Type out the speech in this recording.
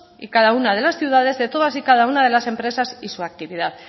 y cada una de las ciudades de todas y cada una de las empresas y su actividad